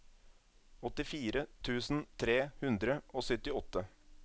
åttifire tusen tre hundre og syttiåtte